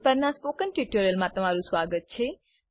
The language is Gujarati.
પર ના સ્પોકન ટ્યુટોરીયલમા તમારુ સ્વાગત છે